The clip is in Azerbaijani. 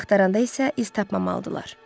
Axtaranda isə iz tapmamalıdırlar.